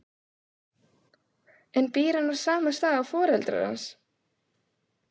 En býr hann á sama stað og foreldrar hans?